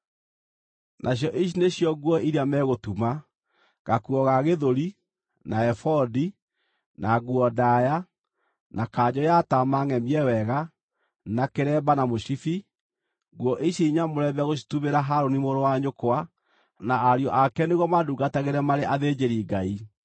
Nacio ici nĩcio nguo iria megũtuma: gakuo ga gĩthũri, na ebodi, na nguo ndaaya, na kanjũ ya taama ngʼemie wega, na kĩremba, na mũcibi. Nguo ici nyamũre megũcitumĩra Harũni mũrũ wa nyũkwa na ariũ ake nĩguo mandungatagĩre marĩ athĩnjĩri-Ngai.